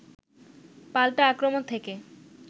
পাল্টা আক্রমণ থেকে